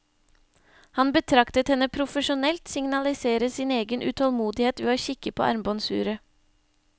Han betraktet henne profesjonelt signalisere sin egen utålmodighet ved å kikke på armbåndsuret.